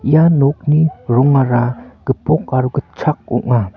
ia nokni rongara gipok aro gitchak ong·a.